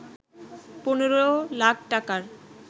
১৫ লাখ টাকার